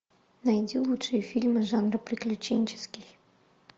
найди лучшие фильмы жанра приключенческий